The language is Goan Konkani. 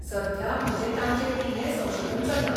सध्या, म्हजें तांचेर इल्लें संशोधन चल्लां.